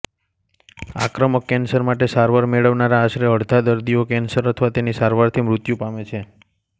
આક્રમક કેન્સર માટે સારવાર મેળવનારા આશરે અડધા દર્દીઓ કેન્સર અથવા તેની સારવારથી મૃત્યુ પામે છે